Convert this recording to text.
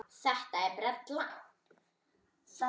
Þetta er brella.